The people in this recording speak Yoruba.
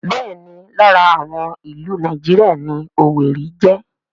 Bẹ́ẹ̀ni lára àwọn ìlú Nàìjíríà ni Owerri jẹ́